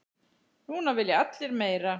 Núna vilja allir meira.